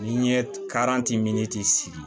N'i ye sigi